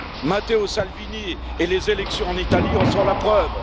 Matteo Salvini et les élections en Italie en sont la preuve.